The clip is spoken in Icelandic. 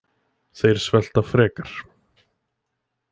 Þeir svelta frekar